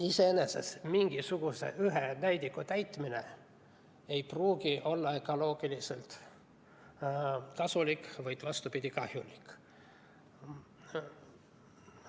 Iseenesest mingisuguse ühe näidu saavutamine ei pruugi olla ökoloogiliselt kasulik, vaid vastupidi, kahjulik.